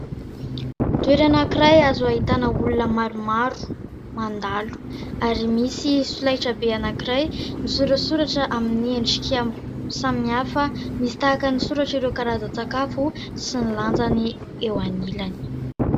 Toerana anankiray azo ahitana olona maromaro, mandalo ary misy solaitra be anankiray misorasoratra amin'ny endrika samihafa misy tahaka ny soratra ireo karazan-tsakafo sy ny lanjany eo anilany.